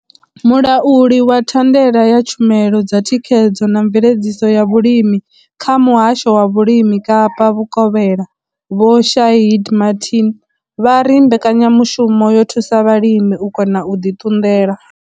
Mulauli wa thandela ya tshumelo dza thikhedzo na mveledziso ya vhulimi kha muhasho wavVhulimi Kapa Vhukovhela vho Shaheed Martin vha ri mbekanyamushumo yo thusa vhalimi u kona u ḓi ṱunḓela.